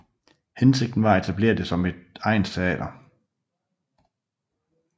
Hensigten var at etablere det som et egnsteater